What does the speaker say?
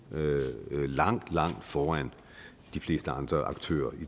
langt langt foran de fleste andre aktører